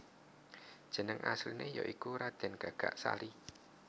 Jeneng asliné ya iku Radèn Gagak Sali